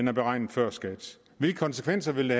er beregnet før skat hvilke konsekvenser vil